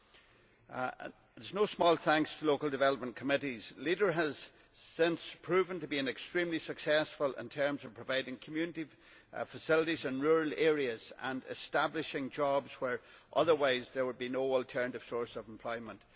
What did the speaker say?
With no small thanks to local development committees, LEADER has since proven to be extremely successful in terms of providing community facilities in rural areas and creating jobs where otherwise there would be no alternative source of employment.